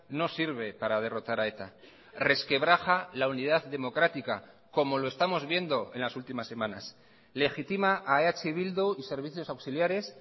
no sirve para derrotar a eta resquebraja la unidad democrática como lo estamos viendo en las últimas semanas legitima a eh bildu y servicios auxiliares